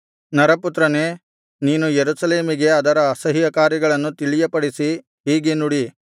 ನರಪುತ್ರನೇ ನೀನು ಯೆರೂಸಲೇಮಿಗೆ ಅದರ ಅಸಹ್ಯಕಾರ್ಯಗಳನ್ನು ತಿಳಿಯಪಡಿಸಿ ಹೀಗೆ ನುಡಿ